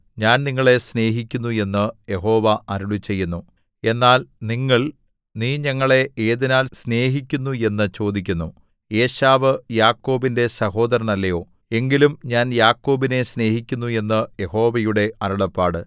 ഞാൻ നിങ്ങളെ സ്നേഹിക്കുന്നു എന്നു യഹോവ അരുളിച്ചെയ്യുന്നു എന്നാൽ നിങ്ങൾ നീ ഞങ്ങളെ ഏതിനാൽ സ്നേഹിക്കുന്നു എന്നു ചോദിക്കുന്നു ഏശാവ് യാക്കോബിന്റെ സഹോദരനല്ലയോ എങ്കിലും ഞാൻ യാക്കോബിനെ സ്നേഹിക്കുന്നു എന്നു യഹോവയുടെ അരുളപ്പാട്